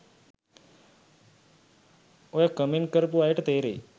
ඔය කමෙන්ට් කරපු අයට තේරෙයි